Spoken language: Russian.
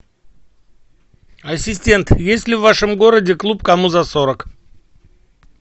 ассистент есть ли в вашем городе клуб кому за сорок